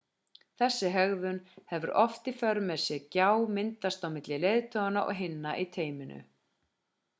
þessi hegðun hefur oft í för með sér gjá myndast milli leiðtoganna og hinna í teyminu